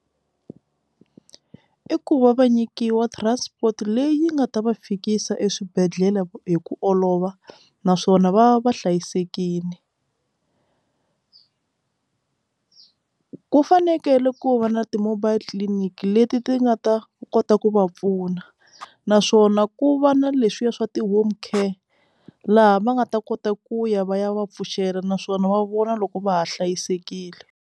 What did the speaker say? I ku va va nyikiwa transport leyi nga ta va fikisa eswibedhlele hi ku olova naswona va va hlayisekile ku fanekele ku va na ti mobile clinic leti ti nga ta kota ku va pfuna naswona ku va na leswiya swa ti-home car laha va nga ta kota ku ya va ya va pfuxela naswona va vona loko va ha hlayisekile.